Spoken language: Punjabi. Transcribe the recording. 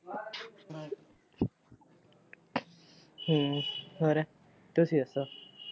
ਹੂ ਹੋਰ ਤੁਸੀਂ ਦਸੋ।